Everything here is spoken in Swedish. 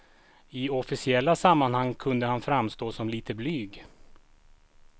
I officiella sammanhang kunde han framstå som lite blyg.